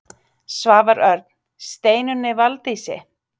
Svavar Örn: Steinunni Valdísi?